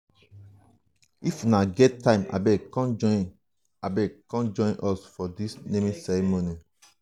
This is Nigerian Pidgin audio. if una get time abeg come join abeg come join us for the naming ceremony